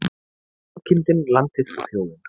Sauðkindin, landið og þjóðin.